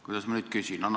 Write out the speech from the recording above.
Kuidas ma nüüd küsin?